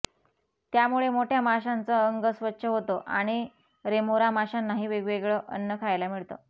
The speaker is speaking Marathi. त्यामुळे मोठया माशांचं अंग स्वच्छ होतं आणि रेमोरा माशांनाही वेगवेगळं अन्न खायला मिळतं